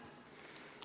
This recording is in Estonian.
Aitäh!